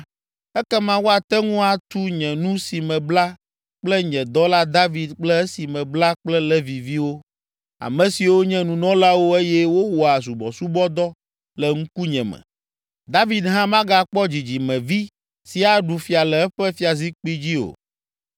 ekema woate ŋu atu nye nu si mebla kple nye dɔla David kple esi mebla kple Leviviwo, ame siwo nye nunɔlawo eye wowɔa subɔsubɔdɔ le ŋkunye me. David hã magakpɔ dzidzimevi si aɖu fia le eƒe fiazikpui dzi o.